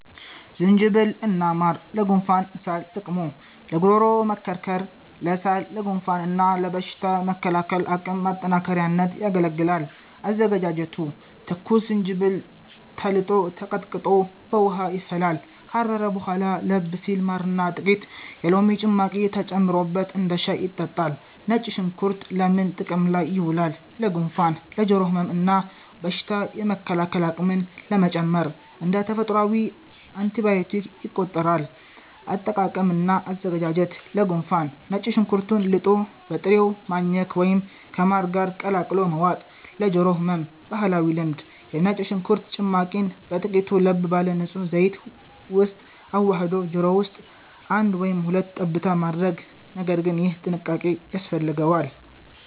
ዝንጅብል እና ማር (ለጉንፋንና ሳል) ጥቅሙ፦ ለጉሮሮ መከርከር፣ ለሳል፣ ለጉንፋን እና ለበሽታ መከላከል አቅም ማጠናከሪያነት ያገለግላል። አዘገጃጀቱ፦ ትኩስ ዝንጅብል ተልጦና ተቀጥቅጦ በውሃ ይፈላል። ካረረ በኋላ ለብ ሲል ማርና ጥቂት የሎሚ ጭማቂ ተጨምሮበት እንደ ሻይ ይጠጣል።. ነጭ ሽንኩርት ለምን ጥቅም ላይ ይውላል? ለጉንፋን፣ ለጆሮ ህመም እና በሽታ የመከላከል አቅምን ለመጨመር (እንደ ተፈጥሯዊ አንቲባዮቲክ ይቆጠራል)። አጠቃቀም እና አዘገጃጀት፦ ለጉንፋን፦ ነጭ ሽንኩርቱን ልጦ በጥሬው ማኘክ ወይም ከማር ጋር ቀላቅሎ መዋጥ። ለጆሮ ህመም (ባህላዊ ልምድ)፦ የነጭ ሽንኩርት ጭማቂን በጥቂቱ ለብ ባለ ንጹህ ዘይት ውስጥ አዋህዶ ጆሮ ውስጥ አንድ ወይም ሁለት ጠብታ ማድረግ (ነገር ግን ይህ ጥንቃቄ ያስፈልገዋል)።